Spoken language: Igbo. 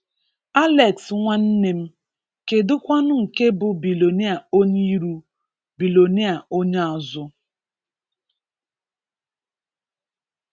Alex nwa nnem, kedụ kwánụ nke bụ bilonia onye iru, bilonia onye azụ